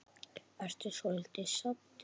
Ertu svolítið saddur?